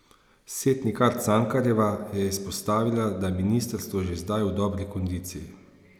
Setnikar Cankarjeva je izpostavila, da je ministrstvo že zdaj v dobri kondiciji.